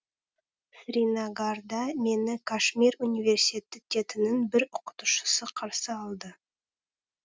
сринагарда мені кашмир университетінің бір оқытушысы қарсы алды